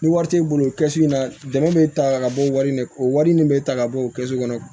Ni wari t'i bolo o kɛsi in na dɛmɛ bɛ ta ka bɔ wari in na o wari nin bɛ ta ka bɔ o kɛ so kɔnɔ